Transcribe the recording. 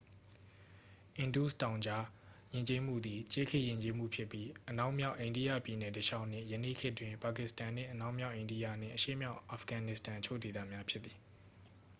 အင်ဒုစ်တောင်ကြား ယဉ်ကျေးမှုသည် ကြေးခေတ်ယဉ်ကျေးမှုဖြစ်ပြီး အနောက်မြာက် အိန္ဒိယ ပြည်နယ်တလျှောက်နှင့် ယနေ့ခေတ်တွင် ပါကစ္စတန်နှင့် အနောက်မြောက်အိန္ဒိယနှင့် အရှေ့မြောက် အာဖဂန်နစ္စတန် အချို့ဒေသများဖြစ်သည်